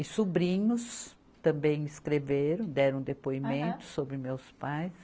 E sobrinhos também escreveram, deram depoimento sobre meus pais.